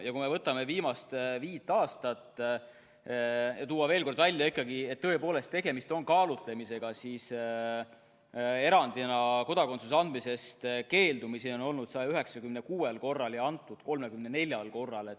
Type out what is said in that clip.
Ja kui me vaatame ka viimast viit aastat, siis tõepoolest on tegemist kaalutlemisega: erandina kodakondsuse andmisest on keeldutud 196 korral ja kodakondsus antud 34 korral.